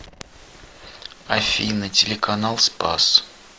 афина телеканал спас